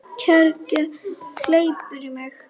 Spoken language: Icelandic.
Kergja hleypur í mig.